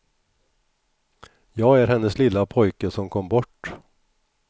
Jag är hennes lilla pojke som kom bort.